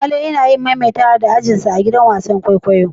Wale yana yin maimaitawa da ajin sa a'gidan wasan kwaikwayo.